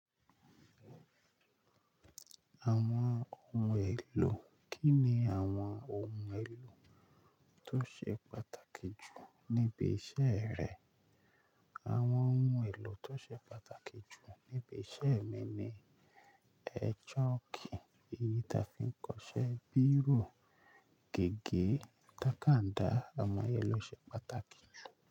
Àwọn ohun èlò, Kí ni àwọn ohun èlò tó ṣe pàtàkì jù níbi iṣẹ́ rẹ? Àwọn ohun èlò tó ṣe pàtàkì jù níbi iṣẹ́ mi ni ṣọ́ọ́kì èyí ta fi ń kọṣẹ́, bírò, gègé, tàkàndá, àwọn ohun èlò ṣe pàtàkì.